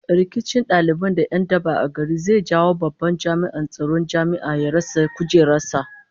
Rikicin daliban da 'yan daba a gari zai jawo babban jami'in tsaron jami'a ya rasa kujerar sa